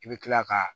I bɛ kila ka